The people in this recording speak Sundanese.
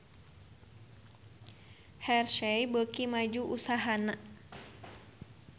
Hershey beuki maju usahana